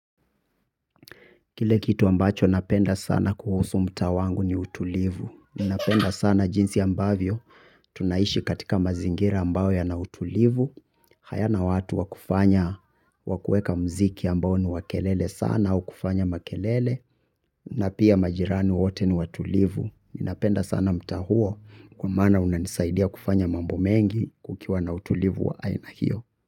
Kile kitu ambacho napenda sana kuhusu mtaa wangu ni utulivu. Ninapenda sana jinsi ambavyo tunaishi katika mazingira ambao yana utulivu. Hayana watu wakufanya wakuweka mziki ambao ni wa kelele sana au kufanya makelele na pia majirani wote ni watulivu. Ninapenda sana mtaa huo kwa mana unanisaidia kufanya mambo mengi kukiwa na utulivu wa aina hiyo.